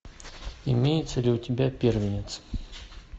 имеется ли у тебя первенец